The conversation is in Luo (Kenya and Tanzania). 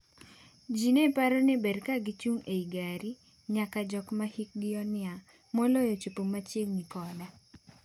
Ji ne paro ni ber ka gichung’ ei gari, nyaka jogo mahikgi oniang’, moloyo chopo machigni koda .